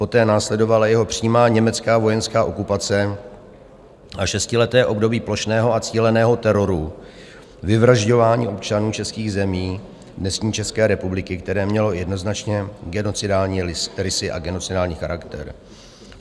Poté následovala jeho přímá německá vojenská okupace a šestileté období plošného a cíleného teroru, vyvražďování občanů českých zemí dnešní České republiky, které mělo jednoznačně genocidní rysy a genocidní charakter.